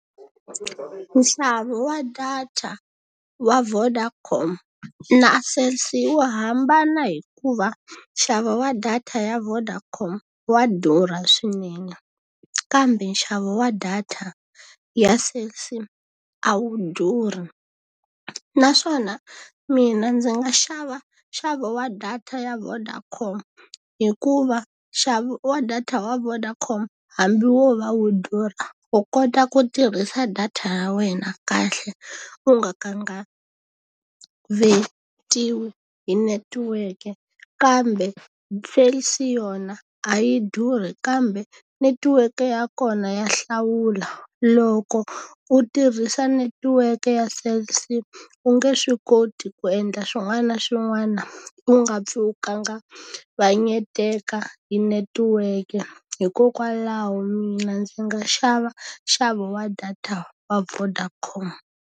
Nxavo wa data wa Vodacom na Cell C wu hambana hi ku va nxavo wa data ya Vodacom wa durha swinene, kambe nxavo wa data ya Cell C a wu durhi. Naswona mina ndzi nga xava nxavo wa data ya Vodacom hikuva, nxavo wa data wa Vodacom hambi wo va wu durha wu kota ku tirhisa data ya wena kahle u nga kanganyetiwi netiweke. Kambe Cell C yona a yi durhi kambe netiweke ya kona ya hlawula. Loko u tirhisa netiweke ya Cell C u nge swi koti ku u endla swin'wana na swin'wana u nga pfi u kavanyeteka hi netiweke. Hikokwalaho mina ndzi nga xava nxavo wa data wa Vodacom.